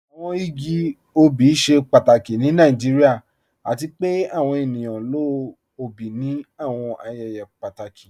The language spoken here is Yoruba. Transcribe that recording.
Awọn igi ọbì ṣẹ pàtàkì ni Nàìjíríà, àti pẹ̀ àwọn ènìyàn lọ ọ̀bì ní àwọn ayẹyẹ pàtàkì.